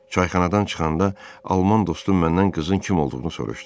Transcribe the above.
Çayxanadan çıxanda Alman dostu məndən qızın kim olduğunu soruşdu.